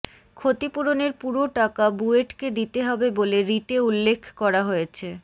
ক্ষতিপূরণের পুরো টাকা বুয়েটকে দিতে হবে বলে রিটে উল্লেখ করা হয়েছে